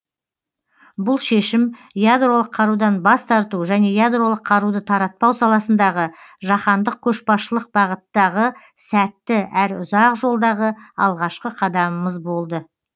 бұл шешім ядролық қарудан бас тарту және ядролық қаруды таратпау саласындағы жаһандық көшбасшылық бағыттағы сәтті әрі ұзақ жолдағы алғашқы қадамымыз болды